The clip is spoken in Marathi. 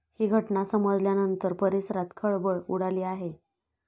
ही घटना समजल्यानंतर परिसरात खळबळ उडाली आहे.